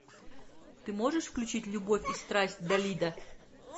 ты можешь включить любовь и страсть далида